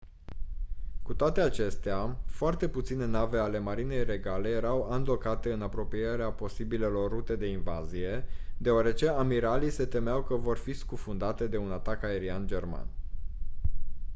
cu toate acestea foarte puține nave ale marinei regale erau andocate în apropierea posibilelor rute de invazie deoarece amiralii se temeau că vor fi scufundate de un atac aerian german